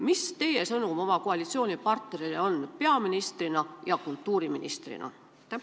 Mis teie sõnum oma koalitsioonipartnerile praegu peaministrina ja kultuuriministrina on?